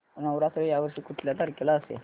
नवरात्र या वर्षी कुठल्या तारखेला असेल